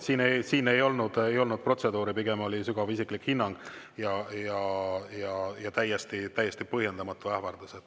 Siin ei olnud protseduuri, pigem oli sügav isiklik hinnang ja täiesti põhjendamatu ähvardus.